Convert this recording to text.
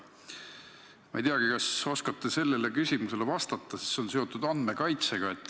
Ma ei teagi, kas te oskate sellele küsimusele vastata, sest see on seotud andmekaitsega.